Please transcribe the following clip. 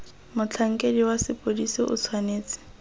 motlhankedi wa sepodisi o tshwanetse